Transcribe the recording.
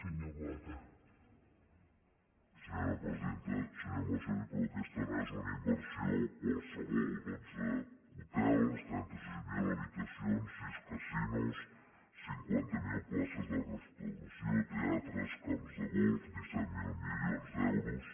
senyor mas colell però aquesta no és una inversió qualsevol dotze hotels trenta sis mil habitacions sis casinos cinquanta miler places de restauració teatres camps de golf disset mil milions d’euros